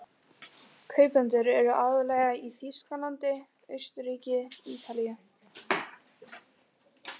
Kaupendur eru aðallega í Þýskalandi, Austurríki, Ítalíu